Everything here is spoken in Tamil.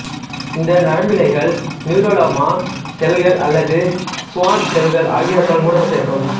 இந்த நரம்பிழைகள் நியூரிலேமா செல்கள் அல்லது சுவான் செல்கள் ஆகியவற்றால் மூடப்பட்டிருக்கும்